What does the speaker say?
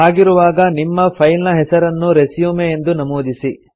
ಹಾಗಿರುವಾಗ ನಿಮ್ಮ ಫೈಲ್ ನ ಹೆಸರನ್ನು ರೆಸ್ಯೂಮ್ ಎಂದು ನಮೂದಿಸಿ